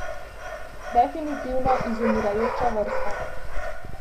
Definitivno izumirajoča vrsta.